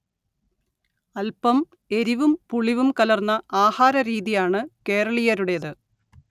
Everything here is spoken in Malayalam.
അല്പം എരിവും പുളിവും കലർന്ന ആഹാരരീതിയാണ് കേരളീയരുടേത്